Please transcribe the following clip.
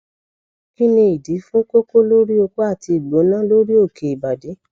kini idi fun koko lori oko ati igbona lori oke ibadi